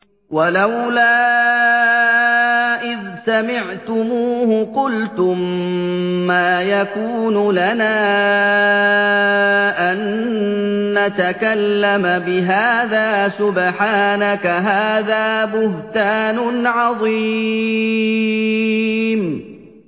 وَلَوْلَا إِذْ سَمِعْتُمُوهُ قُلْتُم مَّا يَكُونُ لَنَا أَن نَّتَكَلَّمَ بِهَٰذَا سُبْحَانَكَ هَٰذَا بُهْتَانٌ عَظِيمٌ